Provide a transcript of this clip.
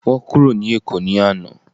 Wọn kúrò ní èkó ni àná